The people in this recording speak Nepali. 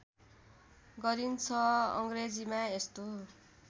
गरिन्छ अङ्ग्रेजीमा यस्तो